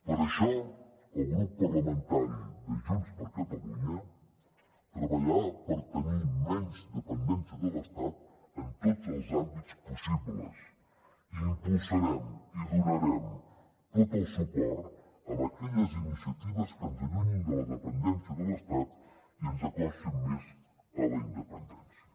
per això el grup parlamentari de junts per catalunya treballarà per tenir menys dependència de l’estat en tots els àmbits possibles i impulsarem i donarem tot el suport a aquelles iniciatives que ens allunyin de la dependència de l’estat i ens acostin més a la independència